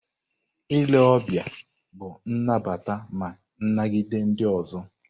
Ile ọbịa bụ inabata ma ị nagide ndị ọzọ.